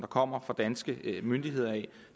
kommer fra danske myndigheder det